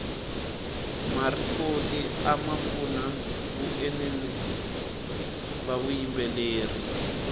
marikoti amapfuna vaenili vavuyimbeleri